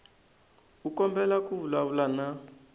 u kombela ku vulavula na